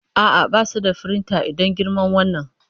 A'a, ba su da firinta idan girman wannan.